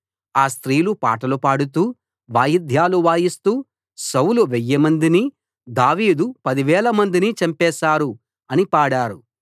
ఆ స్త్రీలు పాటలు పాడుతూ వాయిద్యాలు వాయిస్తూ సౌలు వెయ్యిమందిని దావీదు పదివేలమందినీ చంపేశారు అని పాడారు